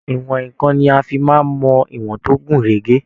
Ìwọn nǹkan ni a fi máa mọ ìwọn tó gún régé.